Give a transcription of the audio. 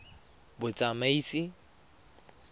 batsamaisi